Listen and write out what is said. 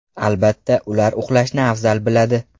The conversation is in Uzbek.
Albatta, ular uxlashni afzal biladi.